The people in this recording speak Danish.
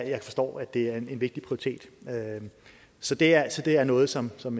jeg forstår at det er en vigtig prioritet så det er det er noget som som